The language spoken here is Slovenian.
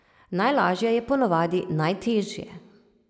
Najlažje je po navadi najtežje ...